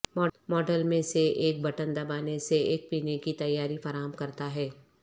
model میں سے ایک بٹن دبانے سے ایک پینے کی تیاری فراہم کرتا ہے